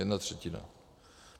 Jedna třetina.